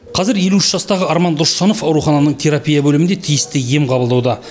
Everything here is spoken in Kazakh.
қазір елу үш жастағы арман досжанов аурухананың терапия бөлімінде тиісті ем қабылдауда